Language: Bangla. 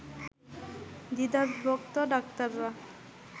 দ্বিধাবিভক্ত ডাক্তাররা